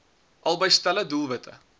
albei stelle doelwitte